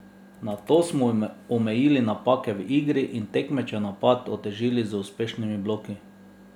Nato smo omejili napake v igri in tekmečev napad otežili z uspešnimi bloki.